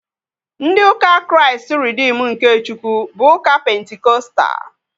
Ndị ụka Kraịst Reedim nke Chukwu bụ ụka pentikọstal